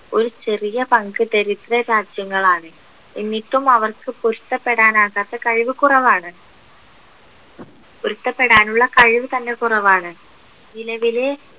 ഒരു ചെറിയ പങ്ക് ദരിദ്ര രാജ്യങ്ങളാണ് എന്നിട്ടും അവർക്ക് പൊരുത്തപ്പെടാനാകാത്ത കഴിവ് കുറവാണ് പൊരുത്തപ്പെടാനുള്ള കഴിവ് തന്നെ കുറവാണ് നിലവിലെ